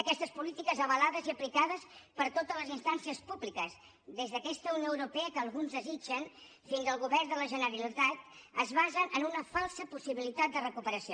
aquestes polítiques avalades i aplicades per totes les instàncies públiques des d’aquesta unió europea que alguns desitgen fins al govern de la generalitat es basen en una falsa possibilitat de recuperació